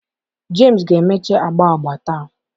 Jemsi ga-emecha agba agba taa.